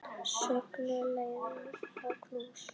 Söngur, gleði og knús.